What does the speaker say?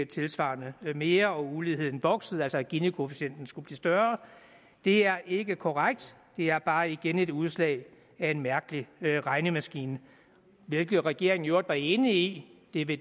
tilsvarende mere og uligheden voksede altså at ginikoefficienten skulle blive større det er ikke korrekt det er bare igen et udslag af en mærkelig regnemaskine hvilket regeringen i øvrigt var enig i det